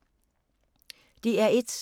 DR1